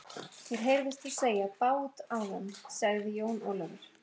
Mér heyrðist þú segja bát áðan, sagði Jón Ólafur.